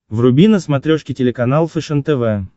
вруби на смотрешке телеканал фэшен тв